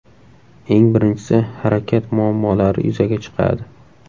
Eng birinchisi harakat muammolari yuzaga chiqadi.